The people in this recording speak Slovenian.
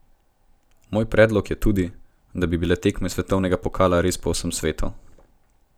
Moj predlog je tudi, da bi bile tekme svetovnega pokala res po vsem svetu.